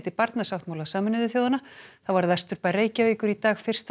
barnasáttmála Sameinuðu þjóðanna þá varð vesturbær Reykjavíkur í dag fyrsta